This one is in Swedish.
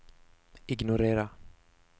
ignorera